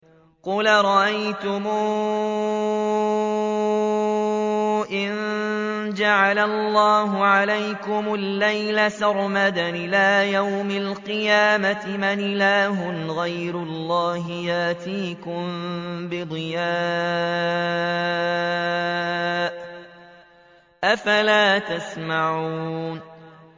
قُلْ أَرَأَيْتُمْ إِن جَعَلَ اللَّهُ عَلَيْكُمُ اللَّيْلَ سَرْمَدًا إِلَىٰ يَوْمِ الْقِيَامَةِ مَنْ إِلَٰهٌ غَيْرُ اللَّهِ يَأْتِيكُم بِضِيَاءٍ ۖ أَفَلَا تَسْمَعُونَ